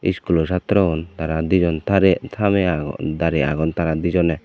iskulo satrogun tara dijon tarey tame agon darey agon dijone.